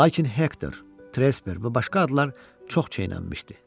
Lakin Hektor, Tresber və başqa adlar çox çeynənmişdi.